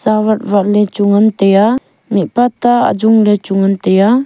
awat wat le chu ngan taiya mihpa ta ajong le chu ngan taiya.